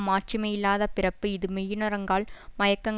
மாட்சிமையில்லாத பிறப்பு இது மெய்யுணருங்கால் மயக்கங்